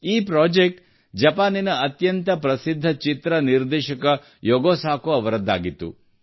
ಈ ಪ್ರೊಜೆಕ್ಟ್ ಜಪಾನಿನ ಅತ್ಯಂತ ಪ್ರಸಿದ್ಧ ಚಿತ್ರ ನಿರ್ದೇಶಕ ಯಗೋ ಸಾಕೋ ಅವರದ್ದಾಗಿತ್ತು